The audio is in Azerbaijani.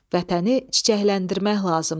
Vətəni çiçəkləndirmək lazımdır.